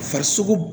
Farisoko